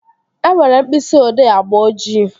E nwere mkpịsị odee agba ojii